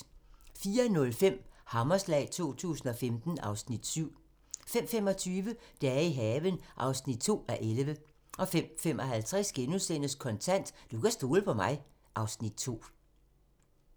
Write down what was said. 04:05: Hammerslag 2015 (Afs. 7) 05:25: Dage i haven (2:11) 05:55: Kontant: Du kan stole på mig (Afs. 2)*